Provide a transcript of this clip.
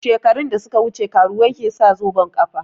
Shekaru da suka wuce karuwai ke sa zoben ƙafa